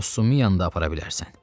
Postumu yanında apara bilərsən.